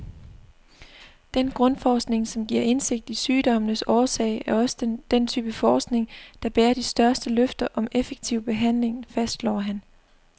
Den grundforskning, som giver indsigt i sygdommenes årsag, er også den type forskning, der bærer de største løfter om effektiv behandling, fastslår han.